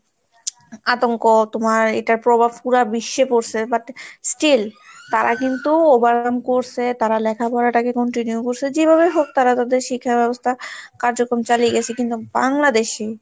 আতঙ্ক তোমার এটার প্রভাব পুরা বিশ্বে পড়ছে but still তারা কিন্তু overcome করসে তারা লেখাপড়াটাকে continue করসে যেভাবেই হোক তারা তাদের শিক্ষা ব্যবস্থা কার্যক্রম চালিয়ে গেছে কিন্তু বাংলাদেশে,